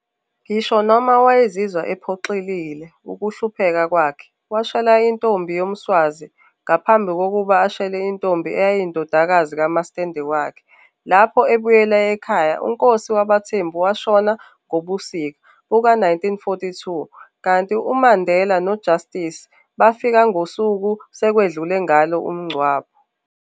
Ngisho noma wayezizwa ephoxekile ukuhlupheka kwakhe, washela intombi yomSwazi, ngaphambi kokuba ashele intombi eyayiyindodakazi kamasitende wakhe. Lapho ebuyela ekhaya uNkosi wabaThembu washona ngobusika buka-1942, kanti uMandela noJustice bafika ngosuku sekwedlule ngalo umngcwabo.